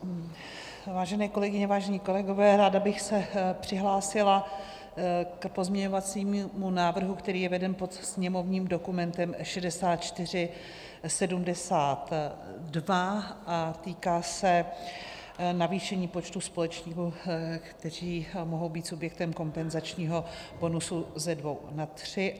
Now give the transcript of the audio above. Vážené kolegyně, vážení kolegové, ráda bych se přihlásila k pozměňovacímu návrhu, který je veden pod sněmovním dokumentem 6472 a týká se navýšení počtu společníků, kteří mohou být subjektem kompenzačního bonusu, ze dvou na tři.